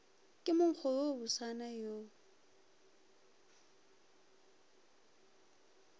ke monkgo wo bosana wo